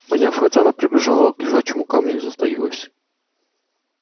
поняв это она прибежала к лежачему камню и затаилась